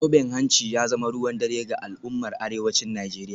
Zoben hanci ya zama ruwan dare ga al’ummar arewacin Najeriya